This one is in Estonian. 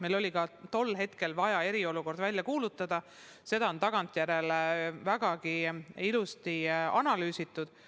Meil oli vaja eriolukord välja kuulutada, seda on tagantjärele vägagi ilusti analüüsitud.